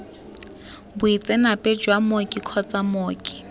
boitseanape jwa mooki kgotsa mooki